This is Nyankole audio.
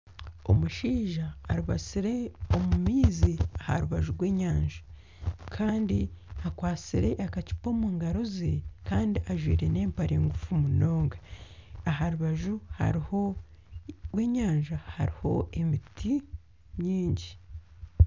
Omushaija aribasire omu maizi aha rubaju rw'enyanja kandi akwasire akacupa omu ngaro ze kandi ajwire n'empare ngufu munonga aha rubaju rw'enyanja hariho emiti mingi.